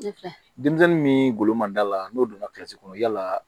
Denmisɛnnin min golo ma da la n'o donna kɔnɔ yala